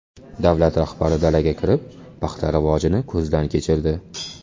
Davlat rahbari dalaga kirib, paxta rivojini ko‘zdan kechirdi.